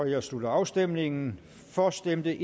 jeg slutter afstemningen for stemte